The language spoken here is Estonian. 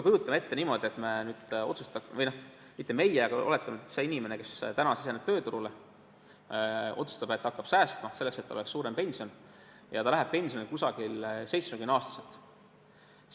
Kujutame ette niimoodi, et see inimene, kes täna tööturule siseneb, otsustab, et ta hakkab säästma selleks, et tal oleks suurem pension, ja ta läheb pensionile ligikaudu 70-aastaselt.